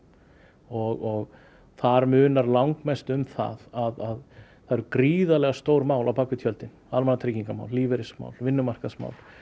og þar munar langmestu um það að það eru gríðarlega stór mál á bak við tjöldin lífeyrismál vinnumarkaðsmál